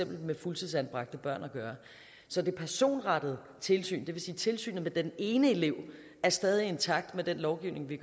med fuldtidsanbragte børn at gøre så det personrettede tilsyn det vil sige tilsynet med den ene elev er stadig intakt med den lovgivning vi